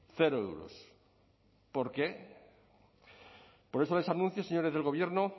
cero euros por qué por eso les anuncio señores del gobierno